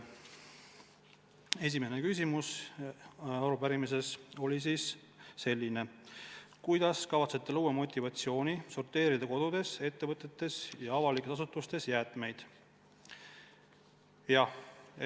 Esimene arupärimise küsimus on selline: "Kuidas kavatsete luua motivatsiooni sorteerida kodudes, ettevõtetes ja avalikes asutustes jäätmeid?